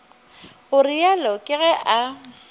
go realo ke ge a